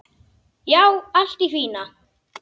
Já, allt í fína.